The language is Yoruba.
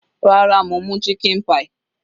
Rárá, mo mú chicken pie.